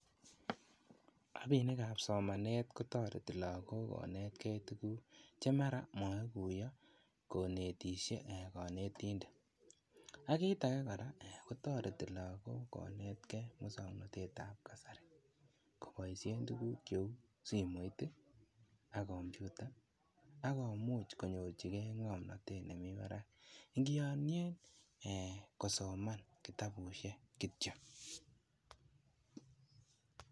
Rabinik ap somanet ko tareti lagok konetkei tuguk tieme ra mwae kuya konetishei ak kit ake kora kotareti lagok ko netkei musanatet ab kasarta kobaishe tuguk kou simet ak kompyuta ako much konyorchigei ng'omnatet nemi barak engiyanie eh kosoman kitabushek kityo